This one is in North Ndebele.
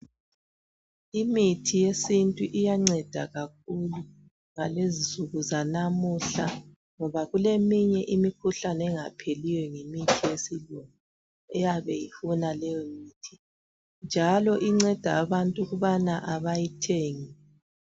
Imithi yesintu iyanceda kakhulu ngalezi insuku zanamuhla ngoba kuleminye imikhuhlane engapheliyo ngemithi yesilungu, eyabe ifuna leyo mithi njalo inceda abantu ukubana abayithengi.